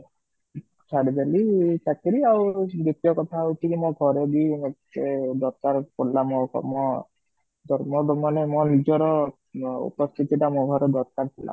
ଛାଡିଦେଲି ଚାକିରି ଆଉ ଦ୍ଵିତୀୟ କଥା ହୋଉଛି କି ମୋ ଘରେ ବି ମୋତେ ଦରକାର ପଡିଲା ମୋର ମାନେ ମୋ ନିଜର ଉପସ୍ଥିତି ଟା ମୋ ଘରେ ଦରକାର ଥିଲା